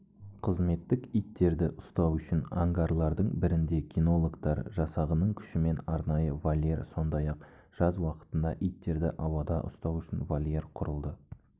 қызметтік иттерді ұстау үшін ангарлардың бірінде кинологтар жасағының күшімен арнайы вольер сондай-ақ жаз уақытында иттерді ауада ұстау үшін вольер құрылды